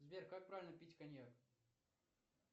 сбер как правильно пить коньяк